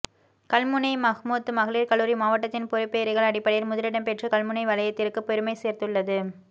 கல்முனை மஹ்முத் மகளீர் கல்லூரி மாவட்டதின் பெறுபேறுகள் அடிப்படையில் முதலிடம் பெற்று கல்முனை வலயத்திற்கும் பெருமை சேர்த்துள்ளது